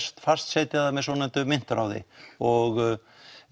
fastsetja það með svokölluðu myntráði og